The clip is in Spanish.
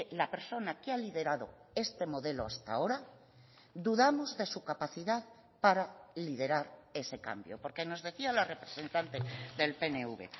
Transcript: la persona que ha liderado este modelo hasta ahora dudamos de su capacidad para liderar ese cambio porque nos decía la representante del pnv